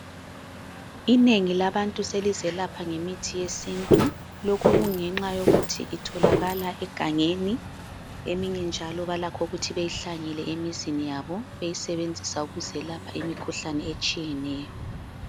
Inengi labantu selizelapha ngemithi yesintu. Lokhu kungenxa yokuthi itholakala egangeni, eminye njalo balakho ukuthi beyihlanyele emizini yabo beyisebenzisa ukuzelapha imikhuhlane etshiyeneyo.